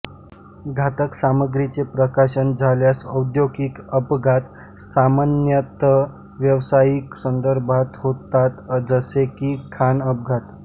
घातक सामग्रीचे प्रकाशन झाल्यास औद्योगिक अपघात सामान्यतः व्यावसायिक संदर्भात होतात जसे की खाण अपघात